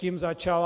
Tím začal.